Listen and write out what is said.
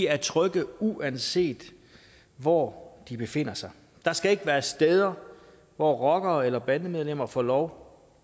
er trygge uanset hvor de befinder sig der skal ikke være steder hvor rockere eller bandemedlemmer får lov